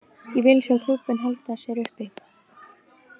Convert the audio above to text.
Ég vil sjá klúbbinn halda sér uppi.